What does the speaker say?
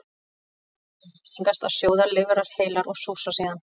Áður var algengast að sjóða lifrar heilar og súrsa síðan.